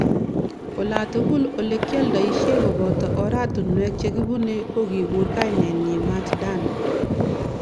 Olatugul olekialdoishie koboto oratunwek chekibune kokikur kainenyi Mat Dan.